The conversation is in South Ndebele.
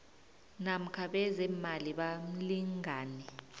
namkha bezeemali bomlingani